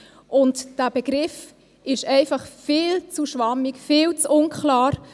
Dieser Begriff ist einfach viel zu schwammig, viel zu unklar.